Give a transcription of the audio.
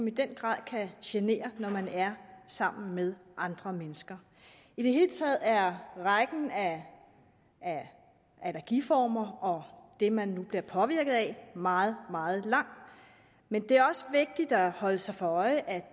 i den grad genere når man er sammen med andre mennesker i det hele taget er rækken af allergiformer og det man nu bliver påvirket af meget meget lang men det er også vigtigt at holde sig for øje at